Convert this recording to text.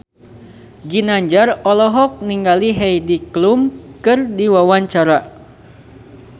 Ginanjar olohok ningali Heidi Klum keur diwawancara